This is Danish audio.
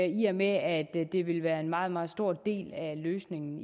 i og med at det vil være en meget meget stor del af løsningen